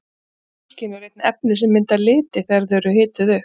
Í seinna hylkinu eru einnig efni sem mynda liti þegar þau eru hituð upp.